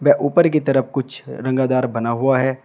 व ऊपर की तरफ कुछ रंगदार बना हुआ है।